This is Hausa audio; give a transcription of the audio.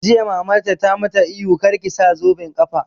Jiya Mamarta ta ma ta ihu 'Kar ki sa zoben ƙafa'!